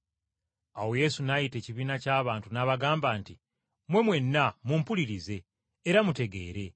Awo Yesu n’ayita ekibiina ky’abantu n’abagamba nti, “Mmwe mwenna, mumpulirize, era mutegeere.